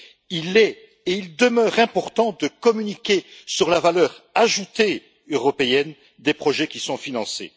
Il est et il demeure important de communiquer sur la valeur ajoutée européenne des projets qui sont financés.